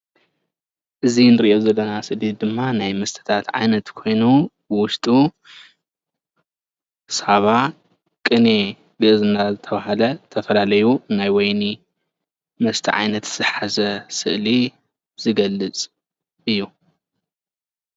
እዚ እንሪኦ ዘለና ስእሊ ድማ ናይ መስተታት ዓይነት ኮይኑ ዉሸጡ ሳባ፣ ቅኔ፣ ግእዝ እናተባህለ ዝተፈላለዩ ናይ ወይኒ መስተ ዓይነት ዝሓዘ ስእሊ ዝገልፅ እዩ።